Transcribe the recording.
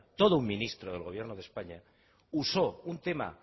todo un ministro del gobierno de españa usó un tema